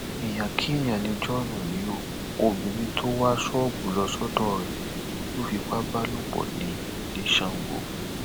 èèyàn kéèyàn ni john yìí ó obìnrin tó wá ṣọọbù lọ sọdọ rẹ ló fipá bá lò pọ ní ní sango